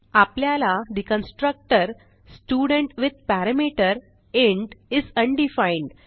आपल्याला ठे constructor student with parameter is undefined